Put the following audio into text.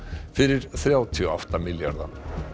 fyrir þrjátíu og átta milljarða